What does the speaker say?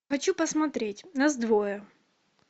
хочу посмотреть нас двое